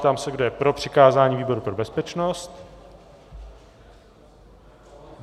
Ptám se, kdo je pro přikázání výboru pro bezpečnost.